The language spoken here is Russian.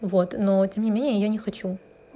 вот но тем не менее я не хочу